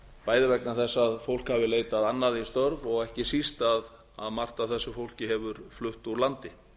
bæði vegna þess að fólk hafi leitað annað í störf og ekki síst að margt af þessu fólki hefur flutt úr landi